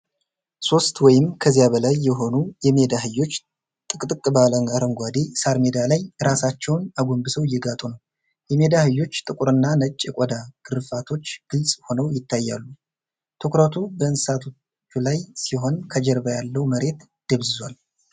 ሦስት ወይም ከዚያ በላይ የሆኑ የሜዳ አህዮች ጥቅጥቅ ባለ አረንጓዴ ሳር ሜዳ ላይ ራሳቸውን አጎንብሰው እየጋጡ ነው። የሜዳ አህዮቹ ጥቁርና ነጭ የቆዳ ግርፋቶች ግልጽ ሆነው ይታያሉ። ትኩረቱ በእንስሳቱ ላይ ሲሆን ከጀርባ ያለው መሬት ደብዝዟል።